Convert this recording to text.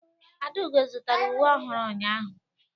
Adaugo zụtara uwe ọhụrụ ụnyahụ.